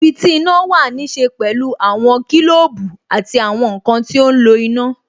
Ibi tí iná wà ní ṣe pẹ̀lú àwọn kilobu àti àwọn nkan ti ó ń lo iná